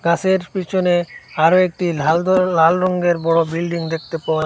গাসের পিছনে আরও একটি লাল ধরন লাল রঙ্গের বড়ো বিল্ডিং দেখতে পাওয়া--